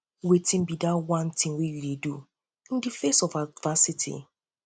wetin be di one thing you dey do in di face of adversity